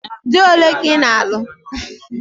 Dị ole ka ị na-alụ?